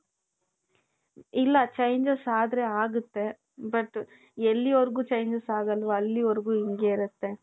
ಇಲ್ಲ changes ಆದ್ರೆ ಆಗುತ್ತೆ but ಎಲ್ಲಿಯವರೆಗೂ changes ಆಗಲ್ವೋ ಅಲ್ಲಿಯವರೆಗೂ ಹಿಂಗೆ ಇರುತ್ತೆ .